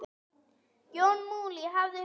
Jón Múli hafði hringt.